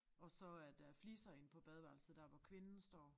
Og så er der fliser inde på badeværelset dér hvor kvinden står